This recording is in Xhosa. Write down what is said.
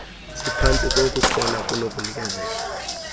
ziphantsi kokukhona kunokunikezelwa